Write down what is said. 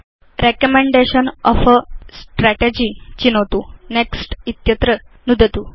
recommendation of a strategy चिनोतु next इत्यत्र नुदतु